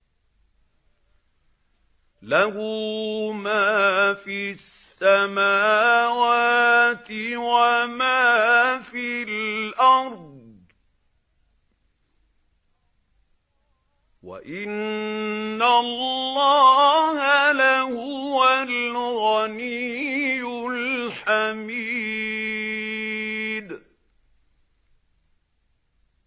لَّهُ مَا فِي السَّمَاوَاتِ وَمَا فِي الْأَرْضِ ۗ وَإِنَّ اللَّهَ لَهُوَ الْغَنِيُّ الْحَمِيدُ